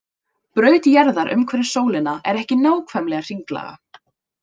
Braut jarðar umhverfis sólina er ekki nákvæmlega hringlaga.